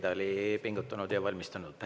Ta oli pingutanud ja hästi valmistunud.